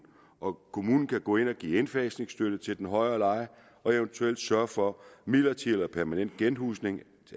og kommunen kan gå ind og give indfasningsstøtte til den højere leje og eventuelt sørge for midlertidig eller permanent genhusning